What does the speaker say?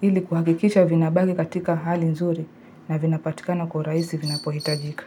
ili kuhakikisha vinabaki katika hali nzuri na vinapatikana kwa uraisi vinapohitajika.